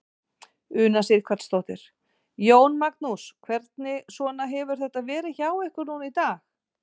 Una Sighvatsdóttir: Jón Magnús, hvernig svona hefur þetta verið hjá ykkur núna í dag?